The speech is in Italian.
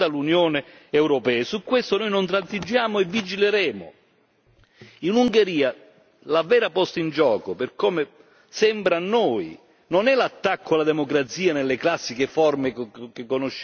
In Ungheria la vera posta in gioco, per come sembra a noi, non è l'attacco alla democrazia nelle classiche forme che conosciamo ma lo svuotamento della democrazia tramite la sua banalizzazione.